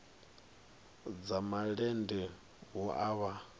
dza malende hu a vha